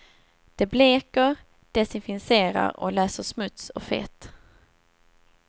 Det bleker, desinficerar och löser smuts och fett.